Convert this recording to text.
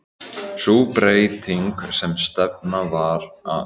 Sú breyting sem stefnt var að